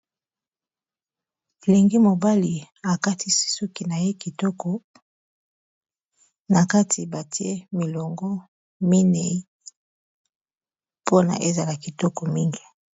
Elengi mobali akatisi suki na ye kitoko na kati batie milongo minei mpona ezala kitoko mingi